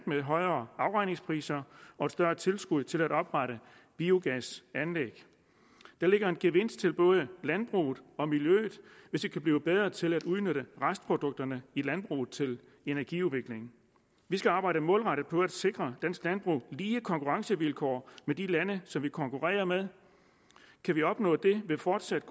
med højere afregningspriser og et større tilskud til at oprette biogasanlæg der ligger en gevinst til både landbruget og miljøet hvis vi kan blive bedre til at udnytte restprodukterne i landbruget til energiudvikling vi skal arbejde målrettet på at sikre dansk landbrug lige konkurrencevilkår med de lande som vi konkurrerer med kan vi opnå det ved fortsat